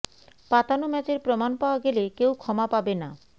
পাতানো ম্যাচের প্রমাণ পাওয়া গেলে কেউ ক্ষমা পাবে না